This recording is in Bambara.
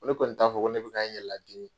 Ko ne kɔni t'a fɔ ko ne bɛ ka n yɛlɛ ladimi.